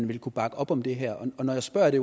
vil kunne bakke op om det her når jeg spørger er det